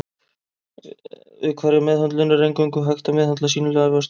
Við hverja meðhöndlun er eingöngu hægt að meðhöndla sýnilegar vörtur.